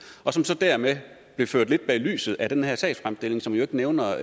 og som så dermed blev ført lidt bag lyset af den her sagsfremstilling som jo ikke nævner